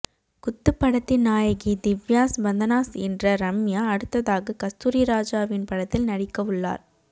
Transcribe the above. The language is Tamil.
குத்து படத்தின் நாயகி திவ்யாஸ் பந்தனாஸ் என்ற ரம்யா அடுத்ததாக கஸ்தூரிராஜாவின் படத்தில் நடிக்கவுள்ளார்